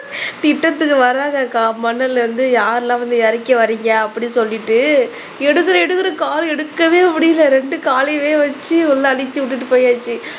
திட்றதுக்கு வராங்கக்கா மண்ணுல இருந்து யாரெல்லாம் வந்து இறக்கி வர்றீங்க அப்படி சொல்லிட்டு எடுக்கறேன் எடுக்கறேன் கால் எடுக்கவே முடியல இரண்டு காலையும் வச்சு உள்ள அடுக்கி விட்டுட்டு போயாச்சு